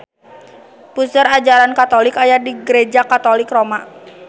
Puseur ajaran katolik aya di Gareja Katolik Roma